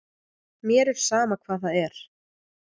Mér er sama hvað það er.